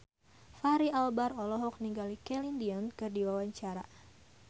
Fachri Albar olohok ningali Celine Dion keur diwawancara